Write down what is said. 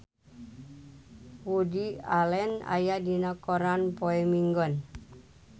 Woody Allen aya dina koran poe Minggon